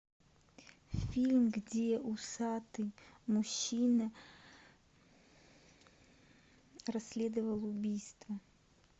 фильм где усатый мужчина расследовал убийство